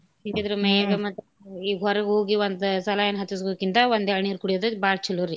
ಹಿಂಗಿದ್ರ ಈಗ ಹೊರಗ್ ಹೋಗಿ ಒಂದ್ saline ಹಚ್ಚಸಕೊಕಿಂತ ಒಂದ್ ಎಳ್ನೀರ್ ಕೂಡಿಯೊದ್ ಬಾಳ್ ಚಲೋರಿ.